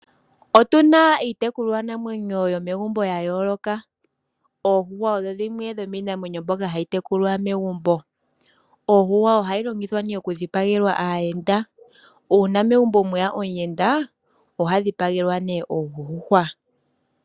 Otuna iitekulwanamwenyo yomegumbo ya yooloka. Oondjuhwa odho dhimwe dhomiinamwenyo mbyoka hayi tekulwa megumbo. Oondjuhwa ohadhi longithwa oku dhipagelwa aayenda, uuna megumbo mweya omuyenda oha dhipagelwa nee ondjuhwa.